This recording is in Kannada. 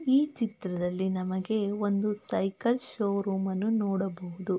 ಈ ಚಿತ್ರದಲ್ಲಿ ನಮಗೆ ಒಂದು ಸೈಕಲ್ ಷೋರೋಮ್ ಅನ್ನು ನೋಡಬಹುದು.